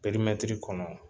perimɛtir kɔnɔ